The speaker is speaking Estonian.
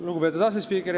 Lugupeetud asespiiker!